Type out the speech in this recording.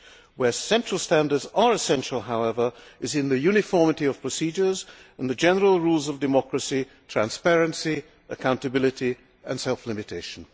Where central standards are essential, however, is in the uniformity of procedures and the general rules of democracy, transparency, accountability and self limitation.